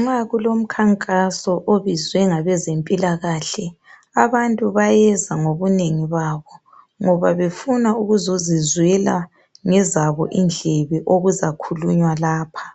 Nxa kulomkhankaso obizwe ngabezempilakahle abantu bayeza ngobunengi babo ngoba befuna ukuzozizwela ngezabo indlebe okuzakhulunywa lapha.